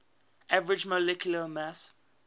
average molecular mass